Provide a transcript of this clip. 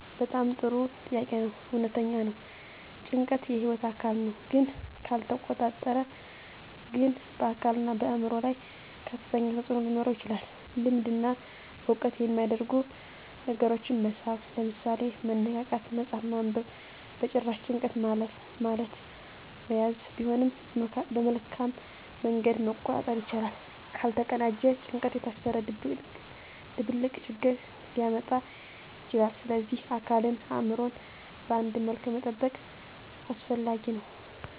በጣም ጥሩ ጥያቄ ነው። እውነተኛ ነው — ጭንቀት የህይወት አካል ነው፣ ግን ካልተቆጣጠረ ግን በአካልና በአእምሮ ላይ ከፍተኛ ተፅዕኖ ሊኖረው ይችላል። ልምድ እና ዕውቀት የሚያደርጉ ነገሮችን መሳብ (ምሳሌ፦ መነቃቃት፣ መጽሐፍ ማንበብ) በጭራሽ፣ ጭንቀት ማለት መያዝ ቢሆንም በመልካም መንገድ መቆጣጠር ይቻላል። ካልተቀናጀ ጭንቀት የታሰረ ድብልቅ ችግር ሊያመጣ ይችላል፣ ስለዚህ አካልንና አእምሮን በአንድ መልኩ መጠበቅ አስፈላጊ ነው።